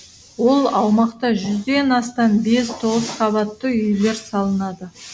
ол аумақта жүзден астам бес тоғыз қабатты үйлер салынады